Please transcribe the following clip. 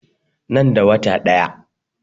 Nan da wata ɗaya.